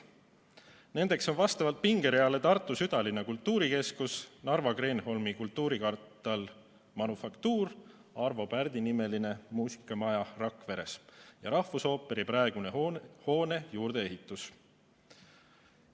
Nendeks on vastavalt pingereale Tartu südalinna kultuurikeskus, Narva Kreenholmi kultuurikvartal Manufaktuur, Arvo Pärdi nimeline muusikamaja Rakveres ja rahvusooperi praeguse hoone juurdeehitus.